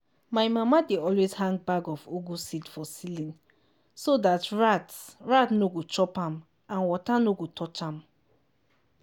my mama dey always hang bag of ugu seed for ceiling so dat rat rat nor go chop am and water nor go touch am.